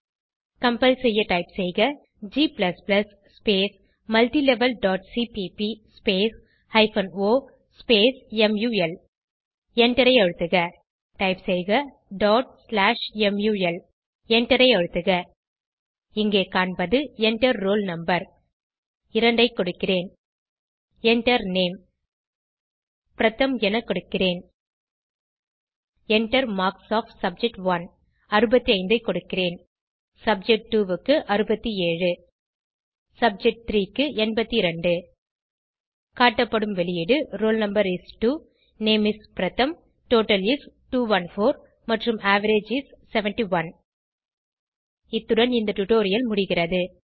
compile செய்ய type செய்க g multilevelசிபிபி o முல் எண்டரை அழுத்துக டைப் செய்க mul எண்டரை அழுத்துக இங்கே காண்பது Enter ரோல் no 2 ஐ கொடுக்கிறேன் Enter Name பிரதம் என கொடுக்கிறேன் Enter மார்க்ஸ் ஒஃப் சப்ஜெக்ட்1 65 ஐ கொடுக்கிறேன் சப்ஜெக்ட்2 க்கு 67 சப்ஜெக்ட்3 க்கு 82 காட்டப்படும் வெளியீடு roll no is 2 name is Pratham total is 214 மற்றும் அவரேஜ் is 71 இத்துடன் இந்த டுடோரியல் முடிகிறது